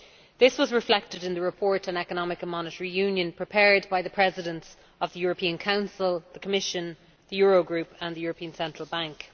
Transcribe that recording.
This was reflected in the report on Economic and Monetary Union prepared by the Presidents of the European Council, the Commission, the Eurogroup and the European Central Bank.